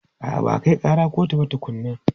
A'a, ba a kai ƙara kotu ba tukunnan.